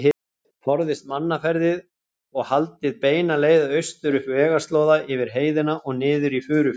Forðist mannaferðir og haldið beina leið austur, upp vegarslóða yfir heiðina og niður í Furufjörð.